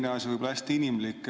Teine asi, võib-olla hästi inimlik.